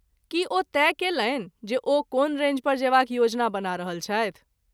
की ओ तय कयलनि जे ओ कोन रेंज पर जयबाक योजना बना रहल छथि?